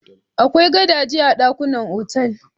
Akwai gadaje a dakunan otal.